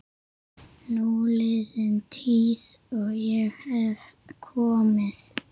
Núliðin tíð- ég hef komið